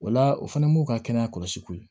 O la o fana m'u ka kɛnɛya kɔlɔsi ko ye